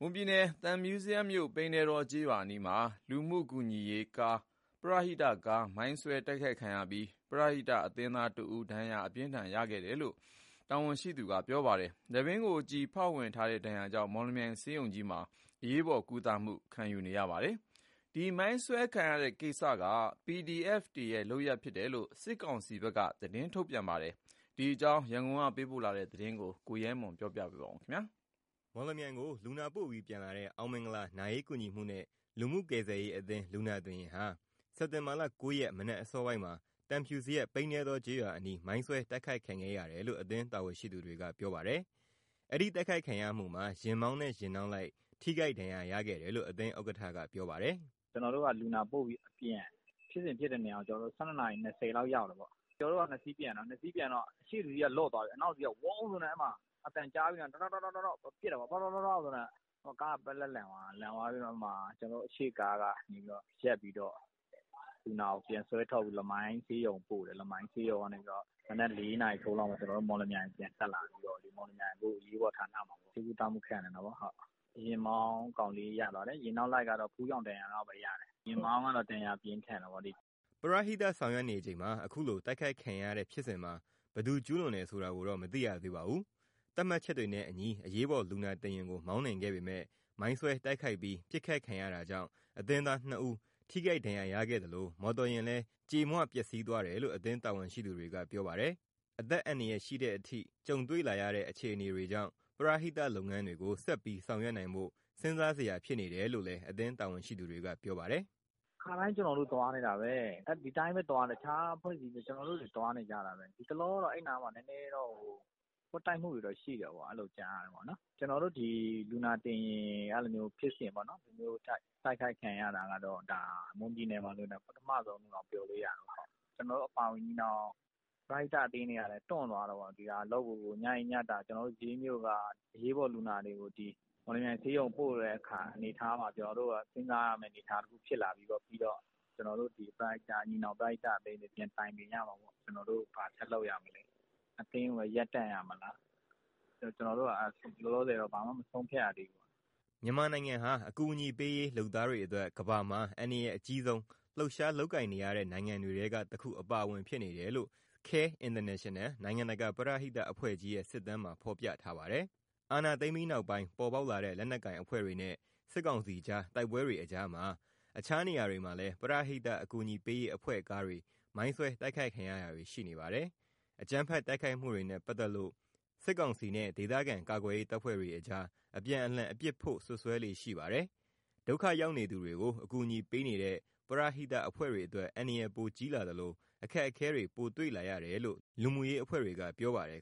မွန်ပြည်နယ် ၊ သံဖြူဇရပ်မြို့နယ်၊ ပိန္နဲတောကျေးရွာအနီးမှာ လူမှုကူညီရေးကား မိုင်းဆွဲတိုက်ခိုက်ခံရပြီး ပရဟိတအသင်းသားတဦး ဒဏ်ရာအပြင်းအထန် ရခဲ့တယ်လို့ အသင်းတာဝန်ရှိသူက ပြောပါတယ်။ အပြင်းအထန် ထိခိုက် ဒဏ်ရာကြောင့် မော်လမြိုင်ဆေးရုံမှာ အရေးပေါ်ကုသမှု ခံယူနေရတယ်လို့ ပြောပါတယ်။ ဒီအကြောင်း သတင်းပေးပို့ချက်ကို ကိုရဲမွန် က ပြောပြမှာပါ။ မော်လမြိုင်ကို လူနာပို့ပြီးပြန်လာတဲ့ အောင်မင်္ဂလာ နာရေးကူညီမှုနဲ့ လူမှုကယ်ဆယ်ရေးအသင်း လူနာတင်ယာဉ်ဟာ စက်တင်ဘာ ၉ ရက် မနက်အစောပိုင်းမှာ သံဖြူဇရပ်၊ ပိန္နဲတောကျေးရွာအနီး မိုင်းဆွဲတိုက်ခိုက်ခံခဲ့ရတယ်လို့ အသင်းတာဝန်ရှိသူတွေက ပြောပါတယ်။ အဲဒီတိုက်ခိုက်ခံရမှုမှာ ယာဉ်မောင်းနဲ့ ယာဉ်နောက်လိုက် ထိခိုက်ဒဏ်ရာရခဲ့တယ်လို့ အသင်းဥက္ကဋ္ဌက ပြောပါတယ်။ "ကျနော်တို့က လူနာပို့ပြီး အပြန် ဖြစ်စဉ်ဖြစ်တဲ့နေရာကို ၁၂ နာရီ ၂၀ မိနစ်လောက်က ရောက်တာပေါ့။ ကျနော်တို့က ကား ၂ စီးပြန်တာ၊ ရှေ့တစီးက လွတ်သွားတယ်။ အဲ့အချိန်မှာ ဝုန်းဆိုတဲ့ အသံကြားပြီးတာနဲ့ တောက်တောက် တောက်တောက် ဆိုပြီး ပစ်ကြတာပေါ့။ အဲဒီအချိန်မှာ နောက်ကားက ပက်လက်လန်သွားတယ်။ ကျနော်တို့ ရှေ့ကားကရပ်ပြီး ဒဏ်ရာရသူတွေကို ပြန်ဆွဲထုတ်ပြီး လမိုင်းဆေးရုံကို ပို့တယ်။ လမိုင်းဆေးရုံကနေပြီးတော့ မနက် ၄ နာရီထိုးလောက်မှာ မော်လမြိုင်ကို ပြန်တက်လာပြီးတော့ အခု မော်လမြိုင်ဆေးရုံ အရေးပေါ်ဌာနမှာ ဆေးကုသမှုခံနေတာပေါ့။ ယာဉ်နောက်လိုက်ကတော့ ဖူးယောင်ဒဏ်ရာလောက်ပဲ ရတယ်။ ယာဉ်မောင်းကတော့ ဒဏ်ရာပြင်းထန်တာပေါ့။' ပရဟိတဆောင်ရွက်နေချိန် အခုလို တိုက်ခိုက်ခံရတဲ့ဖြစ်စဉ်မှာ ဘယ်သူကျူးလွန်တယ်ဆိုတာကိုတော့ မသိရသေးပါဘူး။ သတ်မှတ်ချက်တွေနဲ့အညီ အရေးပေါ်လူနာတင်ယာဉ်ကို မောင်းနှင်ခဲ့ပေမယ့် မိုင်းဆွဲတိုက်ခိုက်ပြီး ပစ်ခတ်ခံရတာကြောင့် အသင်းသား ၂ ဦး ထိခိုက်ဒဏ်ရာရခဲ့သလို မော်တော်ယာဉ်လည်း ကြေမွပျက်စီးသွားတယ်လို့ အသင်းတာဝန်ရှိသူတွေက ပြောပါတယ်။ အသက်အန္တရာယ်ရှိတဲ့အထိ ကြုံတွေ့လာရတဲ့ အခြေအနေတွေကြောင့် ပရဟိတလုပ်ငန်းတွေကို ဆက်ပြီးဆောင်ရွက်နိုင်ဖို့ စဉ်းစားစရာ ဖြစ်နေတယ်လို့လည်း အသင်းတာဝန်ရှိသူက ပြောပါတယ်။ "ခါတိုင်း ကျနော်တို့သွားနေတာပဲ။ တခြားအဖွဲ့တွေရော ကျနော်တို့လည်း သွားနေကြတာပဲ။ တလောတုန်းကတော့ အဲဒီနားမှာ ပွတ်တိုက်မှုတွေ ရှိတယ်လို့တော့ ကြားရတယ်။ ကျနော်တို့ အဲလိုမျိုး လူနာတင်ယာဉ် ဒီလိုတိုက်ခိုက်ခံရတဲ့ဖြစ်စဉ်က မွန်ပြည်နယ်မှာဆို ဒါပထမဆုံးလို့တောင် ပြောလို့ရတာပေါ့။ ကျနော်တို့အပါအဝင် ညီနောင်ပရဟိတအသင်းတွေကလည်း တွန့်သွားတာပေါ့။ ညကြီးညတာ ကျနော်တို့ရေးမြို့က အရေးပေါ်လူနာတွေကို မော်လမြိုင်ဆေးရုံကို ပို့နေတဲ့အနေအထားမှာ ကျနော်တို့က စဉ်းစားစရာဖြစ်လာပြီပေါ့။ ပြီးတော့ ကျနော်တို့ ညီနောင်ပရဟိတအသင်းတွေ ပြန်တိုင်ပင်ရမှာပေါ့။ ကျနော်တို့ ဘာဆက်လုပ်ရမလဲ။ အသင်းကိုပဲ ရပ်တန့်ရမလား။ အခုလောလောဆယ်တော့ ဘာမှမဆုံးဖြတ်ရသေးဘူး။" မြန်မာနိုင်ငံဟာ အကူအညီပေးရေး လုပ်သားတွေအတွက် ကမ္ဘာမှာ အန္တရာယ်အကြီးဆုံး လှုပ်ရှားလုပ်ကိုင်နေရတဲ့ နိုင်ငံတွေထဲက တခုအဖြစ်ပါဝင်နေတယ်လို့ CARE International နိုင်ငံတကာပရဟိတ အဖွဲ့ကြီးရဲ့ စစ်တမ်းမှာ ဖော်ပြထားပါတယ်။ အာဏာသိမ်းပြီးနောက်ပိုင်း ပေါ်ပေါက်လာတဲ့ လက်နက်ကိုင်အဖွဲ့တွေနဲ့ စစ်ကောင်စီကြား တိုက်ပွဲတွေအကြားမှာ တခြားနေရာတွေမှာလည်း ပရဟိတ္တအကူအညီပေးရေး အဖွဲ့ကားတွေ မိုးဆွဲတိုက်ခိုက်ခံရတာတွေ ရှိနေပါတယ်။ အကြမ်းဖက်တိုက်ခိုက်မှုတွေနဲ့ ပတ်သက်လို့ စစ်ကောင်စီနဲ့ ဒေသခံကာကွယ်ရေးတပ်ဖွဲ့တွေအကြား အပြန်အလှန် အပြစ်ဖို့ စွပ်စွဲလေ့ရှိပါတယ်။ ဒုက္ခရောက်နေသူတွေကို ကူညီပေးနေတဲ့ ပရဟိတအဖွဲ့တွေအတွက် အန္တရာယ်ပိုကြီးလာသလို အခက်အခဲတွေ ပို့တွေ့လာရတယ်လို့ လူမှုရေးအဖွဲ့တွေက ပြောပါတယ်